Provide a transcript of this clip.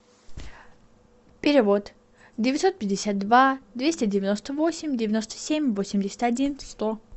перевод девятьсот пятьдесят два двести девяносто восемь девяносто семь восемьдесят один сто